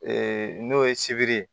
n'o ye sibiri ye